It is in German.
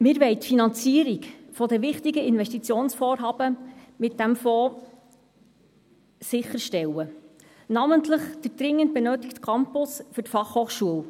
– Wir wollen die Finanzierung der wichtigen Investitionsvorhaben mit diesem Fonds sicherstellen, namentlich den dringend benötigten Campus für die Fachhochschule.